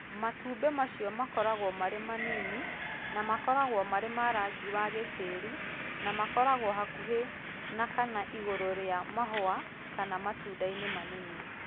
Matumbĩ macio makoragwo marĩ manini na makoragwo marĩ na rangi wa gĩtĩri na makoragwo hakuhĩ na kana igũrũ rĩa mahũa kana matundainĩ manini